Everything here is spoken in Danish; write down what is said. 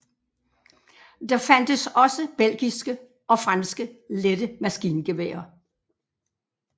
Der fandtes også belgiske og franske lette maskingeværer